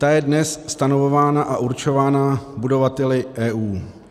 Ta je dnes stanovována a určována budovateli EU.